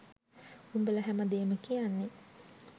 උඹල හැමදේම කියන්නෙ